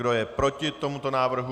Kdo je proti tomuto návrhu?